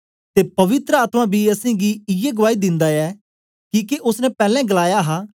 ते पवित्र आत्मा बी असेंगी इयै गुआई दिन्दा ऐ किके ओसने पैलैं गलाया हा